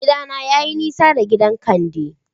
Gidana yayi nisa da gidan Kande